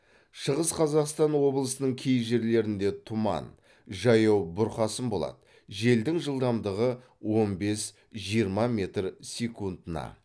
шығыс қазақстан облысының кей жерлерінде тұман жаяу бұрқасын болады желдің жылдамдығы он бес жиырма метр секундына